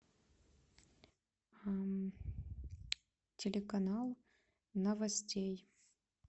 телеканал новостей